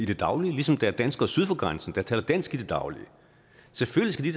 det daglige ligesom der er danskere syd for grænsen der taler dansk i det daglige selvfølgelig